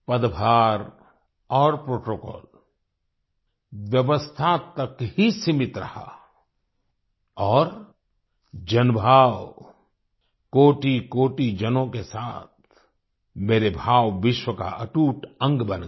पदभार और प्रोटोकॉल व्यवस्था तक ही सीमित रहा और जनभाव कोटिकोटि जनों के साथ मेरे भाव विश्व का अटूट अंग बन गया